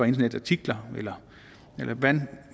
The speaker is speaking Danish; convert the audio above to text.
internetartikler eller hvordan man